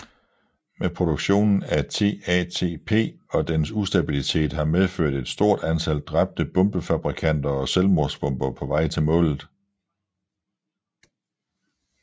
Men produktionen af TATP og dens ustabilitet har medført et stort antal dræbte bombefabrikanter og selvmordsbombere på vej til målet